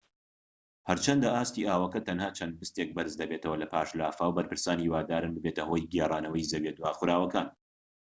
هەرچەندە ئاستی ئاوەکە تەنها چەند بستێك بەرز دەبێتەوە لەپاش لافاو بەرپرسان هیوادارن ببێتە هۆی گێرانەوەی زەویە داخوراوەکان